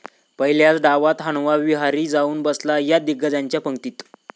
पहिल्याच डावात हनुमा विहारी जाऊन बसला 'या' दिग्गजांच्या पंगतीत